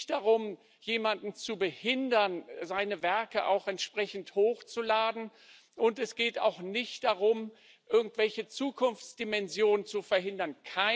Es geht nicht darum, jemanden zu behindern, seine Werke hochzuladen, und es geht auch nicht darum, irgendwelche Zukunftsdimensionen zu verhindern.